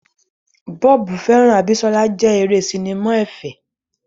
Bob hearts Abisola jẹ́ eré sinimá ẹ̀fẹ̀.